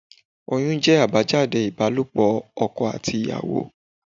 Oyún jẹ́ àbájáde ibalopo ọkọ àti ìyàwó.